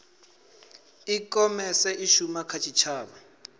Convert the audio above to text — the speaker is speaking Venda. ikhomese i shuma kha tshitshavha